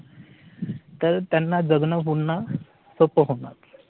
तर त्यांना जगणं पुन्हा सोप्पं होणार